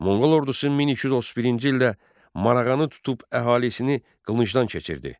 Monqol ordusu 1231-ci ildə Marağanı tutub əhalisini qılıncdan keçirdi.